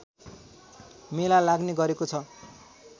मेला लाग्ने गरेको छ